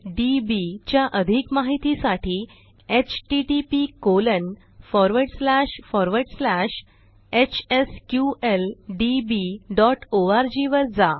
HSQLDBच्या अधिक माहितीसाठी httphsqldborgवर जा